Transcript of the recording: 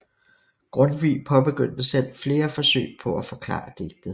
Grundtvig påbegyndte selv flere forsøg på at forklare digtet